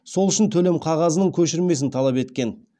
сол үшін төлем қағазының көшірмесін талап еткен